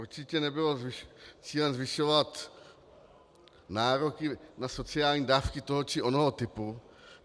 Určitě nebylo cílem zvyšovat nároky na sociální dávky toho či onoho typu.